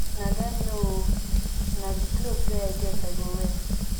na dem know oo na the cloth wey i get i go wear